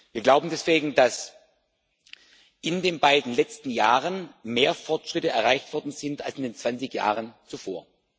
Wir glauben deswegen, dass in den beiden letzten Jahren mehr Fortschritte erreicht worden sind als in den 20 Jahren zuvor.